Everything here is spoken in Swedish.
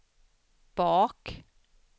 bak